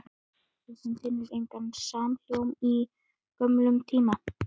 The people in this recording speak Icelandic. Og hún finnur engan samhljóm í gömlum tíma.